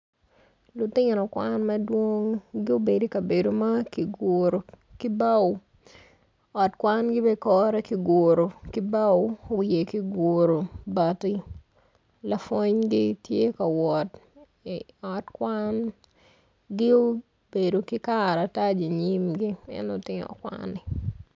Lutino kwan madwong gubedo i kabedo ma kiguro ki bao ot kwangi bene kore kiguro ki bao wiye kiguro bati lapwongi tye ka wot i ot kwan gi obedo ki karatac inyimgi en lutino kwani.